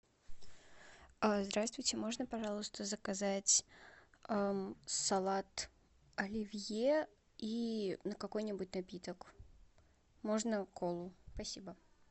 здравствуйте можно пожалуйста заказать салат оливье и какой нибудь напиток можно колу спасибо